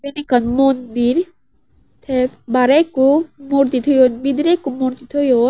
yot ekkan mandir te bare ekko morti toyon bidire ekko morti toyon.